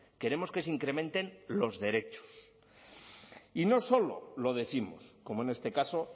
queremos que se incrementen los derechos y no solo lo décimos como en este caso